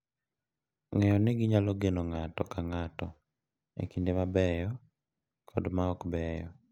Ng’eyo ni ginyalo geno ng’ato ka ng’ato e kinde mabeyo kod ma okbeyo.